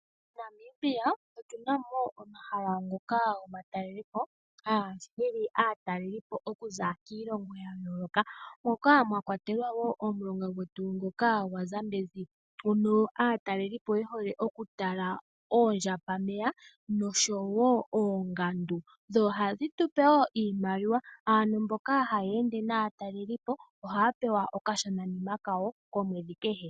MoNamibia otuna mo omahala ngoka omatalelwapo, haga hili aatalelipo okuza kiilongo yayooloka. Moka mwakwatelwa wo omulonga gwetu ngoka gwaZambezi hono aatalelipo yehole okutala oondjambameya noshowoo oongundu, dho ohadhi tupe wo iimaliwa. Aantu mboka haya ende naatalelipo oha ya pewa okashona nima kawo omwedhi kehe.